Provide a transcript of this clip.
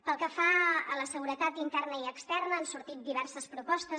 pel que fa a la seguretat interna i externa han sortit diverses propostes